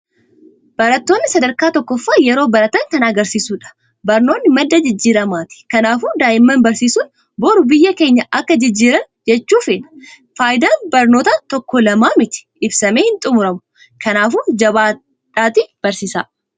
Barattooni sadarkaa tokkoffaa yeroo baratan kan agarsiishudha. Barnoonni madda jijjiiramaati kanafu daa'imman barsiisun biru biyya keenya akka jijiiran jechuu feena. Faayidaan barnootaa tokok lamaa miti ibsamee hin xumuramu. Kanaafuu jabaadhatii barsisaa.